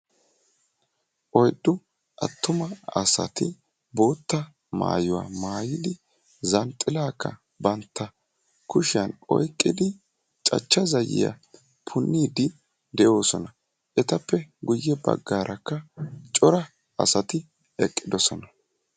oyddu attuma asati boottaa maayuwa maayyidi zanxxilakka bantta kushiyaan oyqqidi cachcha zayiyyaa punniddi de'oosona; etappe guyye baggara cora asati eqqidoosona.